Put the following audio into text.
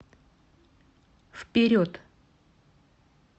вперед